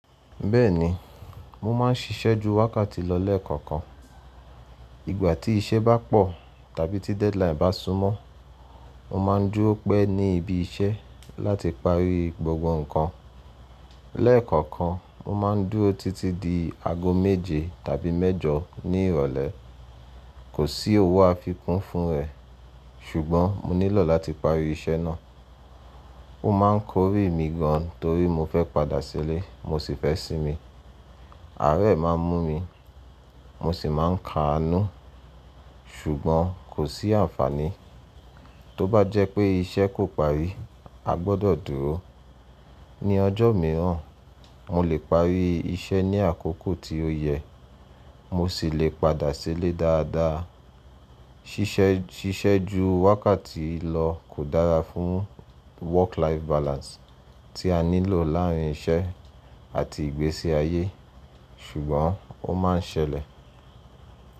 Bẹ́ẹ̀ni, mo máa ń ṣiṣẹ́ ju wákàtì lọ lẹ́ẹ̀kọ̀kan. Ìgbà tí iṣẹ́ bá pọ̀ tàbí tí deadline bá súnmó, mo máa ń dúrọ́ pẹ́ ní ibi-iṣẹ́ láti pari gbogbo nǹkan. Lẹ́ẹ̀kọ̀kan, mo máa ń dúró títí di aago méje tàbí mẹ́jọ ní ìrọ̀lẹ́. Kò sí òwo àfikún fún rẹ̀, ṣùgbọ́n mo nílò láti parí iṣẹ́ náà. Ó ma ń kórìí mi gan torí mo fẹ́ padà sílé, mo sì fẹ́ sinmi. Àárẹ̀ máa ń mú mi, mo sì máa ń ka nú, ṣùgbọ́n kò sí àǹfààní. Tó bá jẹ́ pé iṣẹ́ kò parí, a gbọdọ̀ dúró. Ni ọjọ́ mìíràn, mo lè parí iṣẹ́ ní àkókò tí ó yẹ, mo sì lè padà sílé dáadáa. Ṣiṣẹ́ ju wákàtí lọ kò dára fún work life balance tí a nílò láàárín iṣẹ́ àti ìgbésí ayé, ṣùgbọ́n ó máa ń ṣẹlẹ̀.